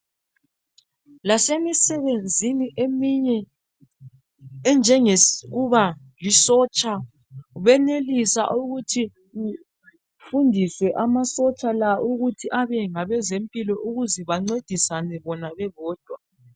Lasemisebenzeni eminye enjengokuba lisotsha benelisa ukuthi kufundiswe amasotsha la ukuthi abe ngabezempilo ukuze bancedisane bona bebodwa.